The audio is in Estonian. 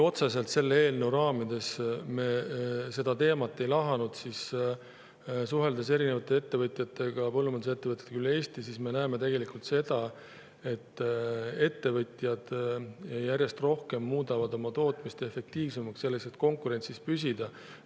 Otseselt selle eelnõu raamides me seda teemat ei lahanud, kuid suheldes erinevate ettevõtjatega, põllumajandusettevõtjatega üle Eesti, me näeme seda, et ettevõtjad järjest rohkem muudavad tootmist efektiivsemaks, selleks et konkurentsis püsida.